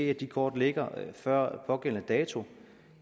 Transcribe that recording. at de kort ligger der før pågældende dato